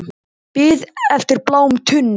Bið eftir bláum tunnum